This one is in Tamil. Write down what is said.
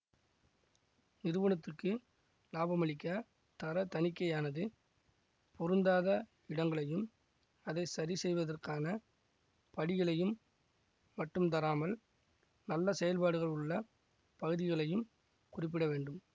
நிறுவனத்துக்கு லாபமளிக்க தர தணிக்கையானது பொருந்தாத இடங்களையும் அதை சரிசெய்வதற்கான படிகளையும் மட்டும் தராமல் நல்ல செயல்பாடுகள் உள்ள பகுதிகளையும் குறிப்பிட வேண்டும்